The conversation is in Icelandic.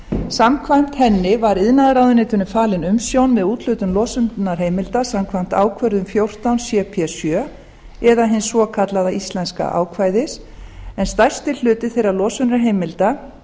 samkvæmt henni var iðnaðarráðuneytinu falin umsjón með úthlutun losunarheimilda samkvæmt ákvörðun fjórtán cp sjö eða hins svokallaða íslenska ákvæðis en stærsti hluti þeirra losunarheimilda